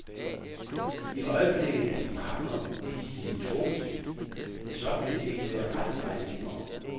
I øjeblikket er de partnere, fordi de er tvunget til det, men sådan vil det ikke være ret meget længere.